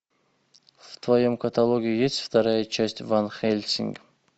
в твоем каталоге есть вторая часть ван хельсинг